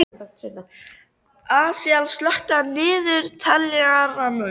Asael, slökktu á niðurteljaranum.